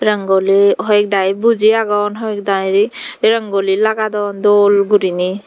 rogoli hoekdagi boji aagon hoekdagi rogoli lagadon doll gurinaie.